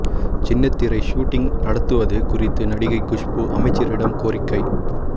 சின்னத்திரை ஹூட்டிங் நடத்துவது குறித்து நடிகை குஷ்பு அமைச்சரிடம் கோரிக்கை